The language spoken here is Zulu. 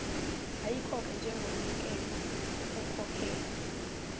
ayikhokhe njengomnikelo ekhokhela